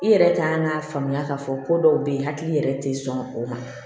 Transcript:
I yɛrɛ k'an k'a faamuya k'a fɔ ko dɔw bɛ yen hakili yɛrɛ tɛ sɔn o ma